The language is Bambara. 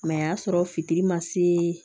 a y'a sɔrɔ fitiri ma se